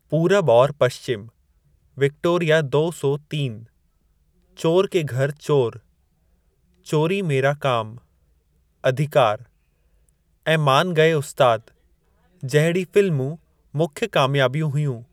पूरब और पश्चिम’, ‘विक्टोरिया दौ सौ तीन’, ‘चोर के घर चोर’, ‘चोरी मेरा काम’, ‘अधिकार’, ऐं 'मान गए उस्ताद' जहिड़ी फ़िल्मूं मुख्य कामयाबियूं हुयूं।